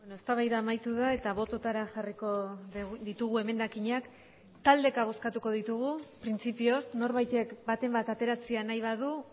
eztabaida amaitu da eta bototara jarriko ditugu emendakinak taldeka bozkatuko ditugu printzipioz norbaitek baten bat ateratzea nahi badu